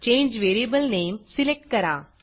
change variable name select करा